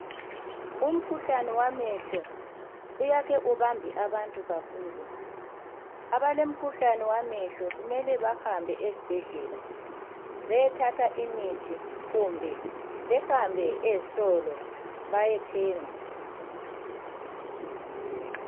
Umkhuhlane wamehlo uyake ubambe abantu kakhulu. Abalemikhuhlane yamehlo kumele bahambe ezibhedlela beyethatha imithi kumbe behambe ezitolo bayethenga.